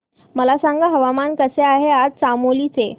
मला सांगा हवामान कसे आहे आज चामोली चे